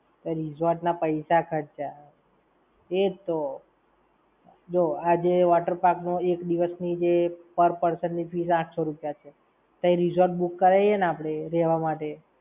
Resort ના પૈસા ખર્ચ્યા. એ જ તો. જો આજે water park માં એક દિવસ ની જે per person ની fees આંઠસો રૂપિયા છે, તઇ resort book કરાઈએ ને આપણે રેવા માટે આપણે, તે resort ના પૈસા ખર્ચ્યા